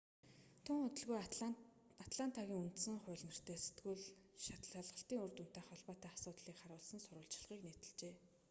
тун удалгүй атлантагийн үндсэн хууль нэртэй сэтгүүл шалгалтын үр дүнтэй холбоотой асуудлыг харуулсан сурвалжлагыг нийтэлжээ